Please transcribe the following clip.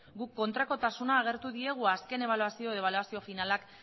guk kontrakotasuna agertu diegu azken ebaluazio edo ebaluazio finalak